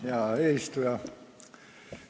Hea eesistuja!